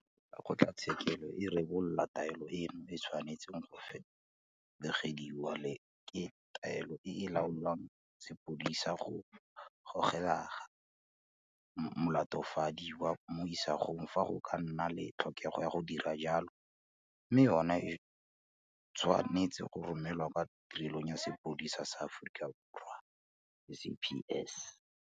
Fa kgotlatshekelo e rebola taelo eno e tshwanetse go felegediwa le ke taolelo e e laoelang sepodisi go golega molatofadiwa mo isagong fa go ka nna le tlhokego ya go dira jalo mme yona e tshwa netse go romelwa kwa Tirelong ya Sepodisi sa Aforika Borwa, SAPS.